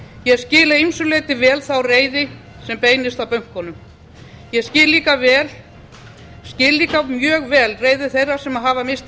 ég skil að ýmsu leyti vel þá reiði sem beinist að bönkunum ég skil líka mjög vel reiði þeirra sem hafa misst